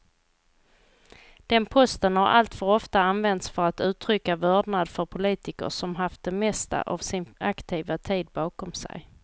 Den posten har alltför ofta använts för att uttrycka vördnad för politiker som haft det mesta av sin aktiva tid bakom sig.